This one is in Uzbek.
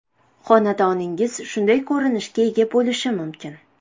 Xonadoningiz shunday ko‘rinishga ega bo‘lishi mumkin.